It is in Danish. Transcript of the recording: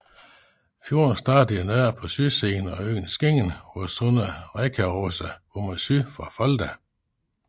Fjorden starter i nord på sydsiden af øen Skingen hvor sundet Rekkøyråsa går mod syd fra Folda